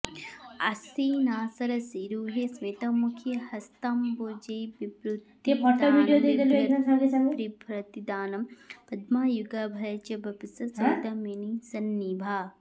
आसीना सरसीरुहे स्मितमुखी हस्ताम्बुजैर्बिभ्रति दानं पद्मयुगाभये च वपुषा सौदामिनीसन्निभा